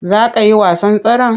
Za ka yi wasan tseren?